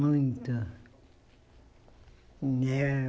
Muito. Né